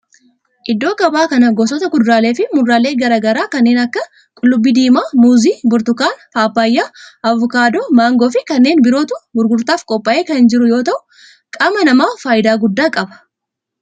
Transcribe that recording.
Iddoo gabaa kana gosoota kuduraalee fi muduraalee garaa garaa kanneen akka qullubbii diimaa, muuzii, burtukaana, paappayyaa, avokaadoo, maangoo fi kanneen birootu gurgurtaaf qophaa'ee kan jiru yoo ta'u qaama namaaf faayidaa guddaa qaba.